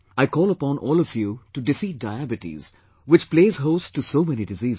I call upon all of you to defeat Diabetes which plays host to so many diseases